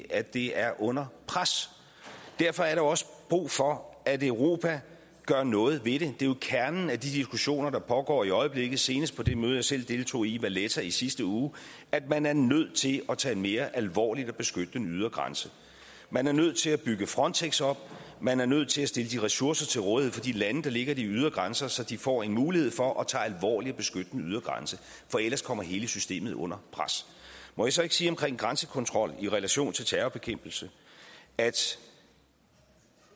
at det er under pres derfor er der også brug for at europa gør noget ved det det er jo kernen i de diskussioner der pågår i øjeblikket senest på det møde jeg selv deltog i i valetta i sidste uge at man er nødt til at tage mere alvorligt at beskytte den ydre grænse man er nødt til at bygge frontex op man er nødt til at stille ressourcer til rådighed for de lande der ligger ved de ydre grænser så de får en mulighed for at tage alvorligt at beskytte den ydre grænse for ellers kommer hele systemet under pres må jeg så ikke sige om grænsekontrol i relation til terrorbekæmpelse at